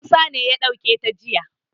Musa ne ya ɗauke ta jiya.